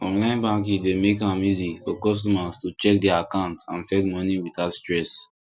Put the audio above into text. online banking dey make am easy for customers to check their account and send money without stress